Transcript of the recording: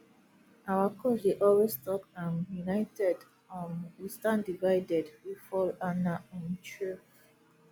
our coach dey always talk um united um we standdivided we fall and na um true